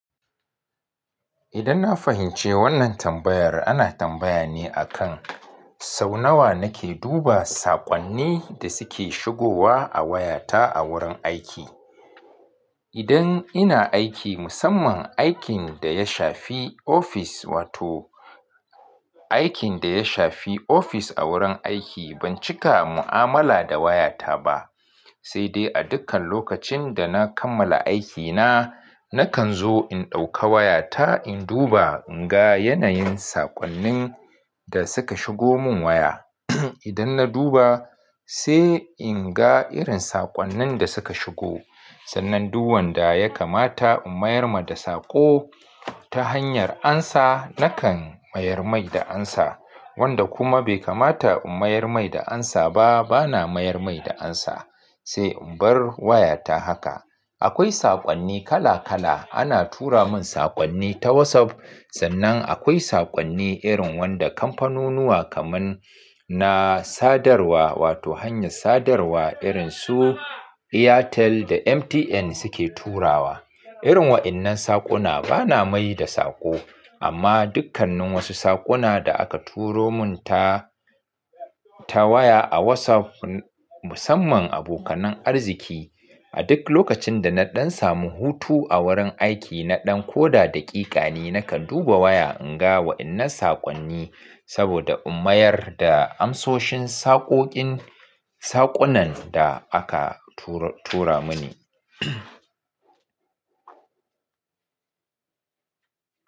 Idan na fahimci wannan tambayar, ana tambaya ne akan sau nawa nake duba saƙonni da suke shigowa a wayata a wurin aiki. Idan ina aiki, musamman aikin da ya shafi ofis, wato aikin da ya shafi ofis a wurin aiki, ban cika mu'amala da wayata ba. Sai dai a dukkan lokacin da na kammala aikina, nakan zo in ɗauka wayata in duba in ga yanayin saƙonnin da suka shigo mun waya. Idan na duba sai in ga irin saƙonnin da suka shigo. Sannan duk wanda ya kamata in mayar ma da saƙo ta hanyar amsa, nakan mayar mai da amsa. Wanda kuma bai kamata in mayar mai da amsa ba, bana mayar mai da amsa. Sai in bar wayata haka. Akwai saƙonni kala kala. Ana tura mun saƙonni ta WhatsApp. Sannan akwai saƙonni irin wanda kamfanunuwa kaman na sadarwa, wato hanyar sadarwa irin su Airtel da MTN suke turawa. Irin wa'innan saƙona bana mai da saƙo. Amma dukkannin wasu saƙona da aka turo mun ta, ta waya a WhatsApp musamman abokanar arziki. A duk lokacin da na ɗan samu hutu a wurin aiki, na ɗan ko da daƙiƙa ne nakan duba waya in ga wa'innan saƙonni. Saboda in mayar da amsoshin saƙokin saƙonan da aka tura tura muni.